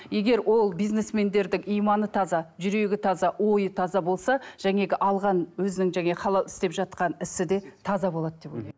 егер ол бизнесмендердің иманы таза жүрегі таза ойы таза болса жаңағы алған өзінің істеп жатқан ісі де таза болады деп ойлаймын